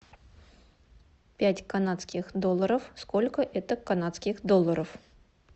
пять канадских долларов сколько это канадских долларов